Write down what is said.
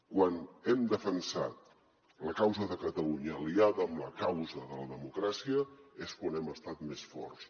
quan hem defensat la causa de catalunya aliada amb la causa de la democràcia és quan hem estat més forts